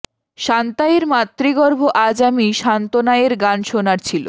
Santa এর মাতৃগর্ভ আজ আমি সান্তনা এর গান শোনার ছিল